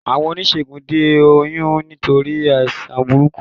Àwọn oníṣègùn de oyún nítorí àìsàn burúkú